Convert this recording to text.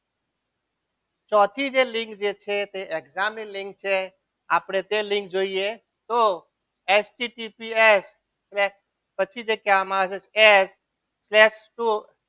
ચોથી લીંક જે છે એ exam ની લીંક છે આપણે તે લિંક જોઈએ તો S T P C L crack પછી જે કહેવામાં આવે છે એચ test ટુ